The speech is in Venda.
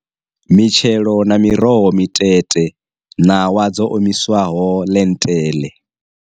Mitshelo na miroho mitete ṋawa dzo omiswaho ḽenteḽe.